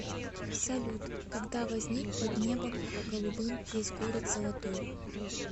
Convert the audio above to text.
салют когда возник под небом голубым есть город золотой